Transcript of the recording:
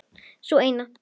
Sú eina!